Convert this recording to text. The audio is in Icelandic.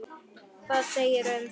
Hvað segirðu um það?